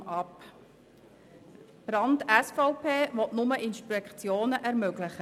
Die Planungserklärung Brand/SVP will nur Inspektionen ermöglichen.